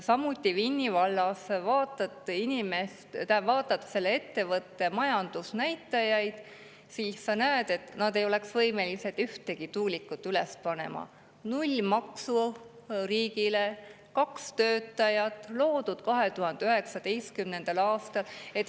Samuti Vinni vallas – kui vaatad selle ettevõtte majandusnäitajaid, siis näed, et nad ei oleks võimelised ühtegi tuulikut üles panema: null maksu riigile, kaks töötajat, loodud 2019. aastal.